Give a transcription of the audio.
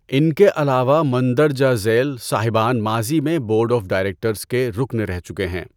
ان کے علاوہ مندرجہ ذیل صاحبان ماضی میں بورڈ آف ڈائریکٹڑز کے رکن رہ چکے ہیں۔